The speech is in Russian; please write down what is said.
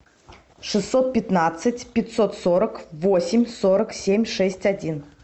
шестьсот пятнадцать пятьсот сорок восемь сорок семь шесть один